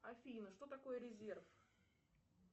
афина что такое резерв